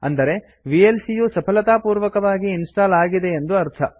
ಅಂದರೆ ವಿಎಲ್ಸಿ ಯು ಸಫಲತಾ ಪೂರ್ವಕವಾಗಿ ಇನ್ಸ್ಟಾಲ್ ಆಗಿದೆ ಎಂದು ಅರ್ಥ